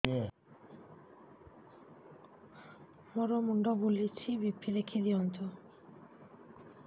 ମୋର ମୁଣ୍ଡ ବୁଲେଛି ବି.ପି ଦେଖି ଦିଅନ୍ତୁ